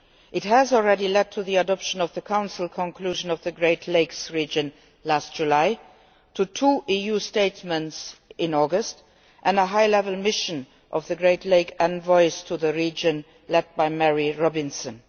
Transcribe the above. It has already led to the adoption of the Council conclusion on the Great Lakes Region in July, two EU statements in August and a high level mission by the Great Lakes envoys to the region, led by Mary Robinson.